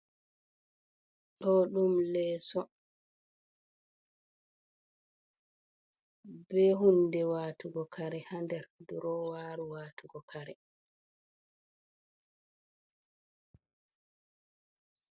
Ɗo ɗum leeso, be hunde waatugo kare haa nder. Durowaru waatugo kare.